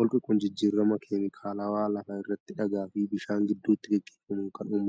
Holqi kun jijjiirama keemikaalawaa lafa irratti dhagaa fi bishaan gidduutti gaggeeffamuun kan uumamee dha.